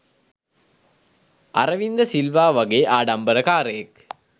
අරවින්ද සිල්වා වගේ ආඩම්බරකාරයෙක්